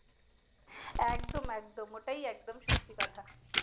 একদম একদম ঐটাই একদম সত্যি কথা।